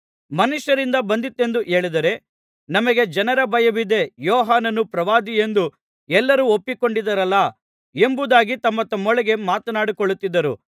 ಮನುಷ್ಯರಿಂದ ಬಂದಿತೆಂದು ಹೇಳಿದರೆ ನಮಗೆ ಜನರ ಭಯವಿದೆ ಯೋಹಾನನು ಪ್ರವಾದಿಯೆಂದು ಎಲ್ಲರೂ ಒಪ್ಪಿಕೊಂಡಿದ್ದಾರಲ್ಲಾ ಎಂಬುದಾಗಿ ತಮ್ಮತಮ್ಮೊಳಗೆ ಮಾತನಾಡಿಕೊಳ್ಳುತ್ತಿದ್ದರು